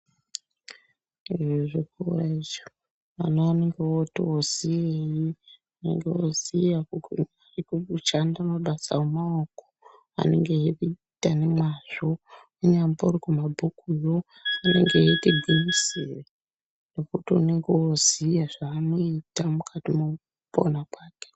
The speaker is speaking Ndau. Izvi muzvikora ichi ana anenge otiwo ziyei anenge oziya kuru kuruchanda mabasa emaoko anenge eita nemwazvo kunyambkri kumabhukuyo anenge eiti gwinyisirei ngekuti unenge oziya zvanoita mukati mwoupona kwake.